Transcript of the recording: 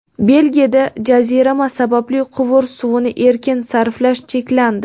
Belgiyada jazirama sababli quvur suvini erkin sarflash cheklandi.